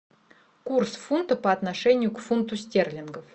курс фунта по отношению к фунту стерлингов